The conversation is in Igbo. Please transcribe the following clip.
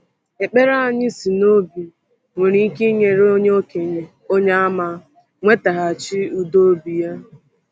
Ekpere anyị si n’obi nwere ike inyere onye okenye Onyeàmà nwetaghachi udo obi ya.